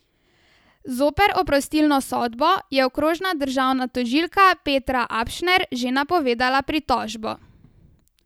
Zoper oprostilno sodbo je okrožna državna tožilka Petra Apšner že napovedala pritožbo.